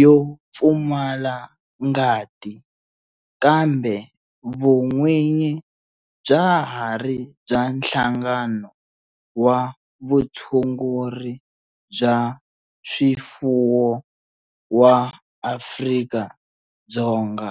yo pfumala ngati kambe vun'winyi bya ha ri bya Nhlangano wa Vutshunguri bya swifuwo wa Afrika-Dzonga.